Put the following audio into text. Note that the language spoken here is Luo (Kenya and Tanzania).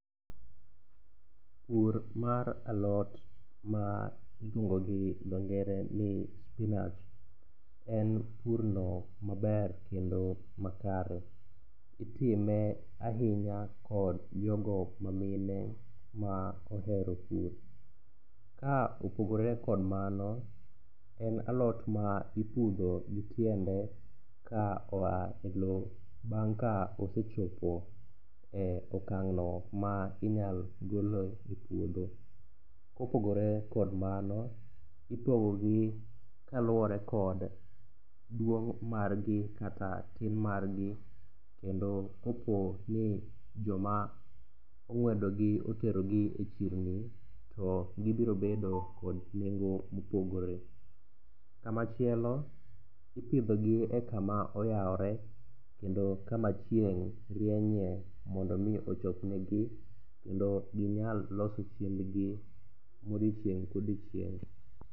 Pur mar alot ma iluongo gi dhongere ni spinach en purno maber kendo makare. itime ahinya kod jogo mamine ma ohero pur. Ka opogore kod mano, en alot ma ipudho kod tiende ka oa e lowo bang' ka osechopo e okang'no ma inyalo gole e puodho. Kopogore kod mano, ipogogi kaluwore kod duong' margi kata tin margi kendo koponi joma ong'wedogi oterogi e chirni, to gibiro bedo kod nengo mopogore. Kamachielo, ipidhogi e kama oyawore kendo kama chieng' rienye mondo omi ochop negi, kendo ginyal loso chiembgi modiochieng' kodiochieng'.